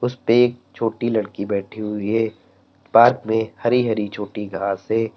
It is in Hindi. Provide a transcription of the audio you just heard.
उसपे एक छोटी लड़की बैठी हुई है पार्क में हरी हरी छोटी घास हैं।